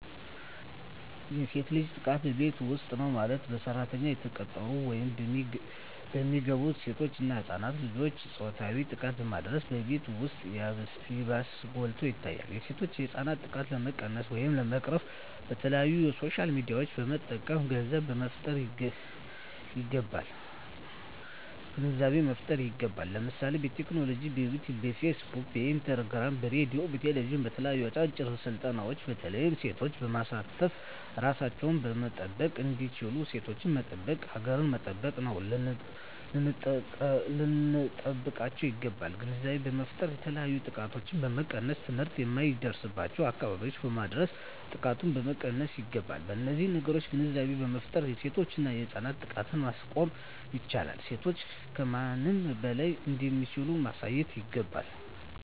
የሴት ልጅ ጥቃት በቤት ዉስጥ ነዉ ማለትም በሰራተኛነት የተቀጠሩ ወይም የሚገቡሴቶች እና ህፃናት ልጆችን ፆታዊ ጥቃትን በማድረስ በቤት ዉስጥ ይባስ ጎልቶ ይታያል የሴቶችና የህፃናት ጥቃት ለመቀነስ ወይም ለመቅረፍ በተለያዩ በሶሻል ሚድያዎችን በመጠቀም ግንዛቤ መፍጠር ይገባል ለምሳሌ በቲክቶክ በዮትዮብ በፊስ ቡክ በኢንስታግራም በሬድዮ በቴሌብዥን በተለያዩ አጫጭር ስልጠናዎች በተለይ ሴቶችን በማሳተፍ እራሳቸዉን መጠበቅ እንዲችሉና ሴቶችን መጠበቅ ሀገርን መጠበቅ ነዉና ልንጠብቃቸዉ ይገባል ግንዛቤ በመፍጠር የተለያዮ ጥቃቶችን መቀነስ ትምህርት የማይደርሱበትን አካባቢዎች በማዳረስ ጥቃቶችን መቀነስ ይገባል በነዚህ ነገሮች ግንዛቤ በመፍጠር የሴቶችና የህፃናትን ጥቃት ማስቆም ይቻላል ሴቶች ከማንም በላይ እንደሚችሉ ማሳየት ይገባል